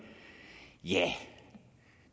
ja